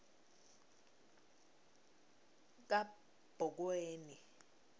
kabhokweni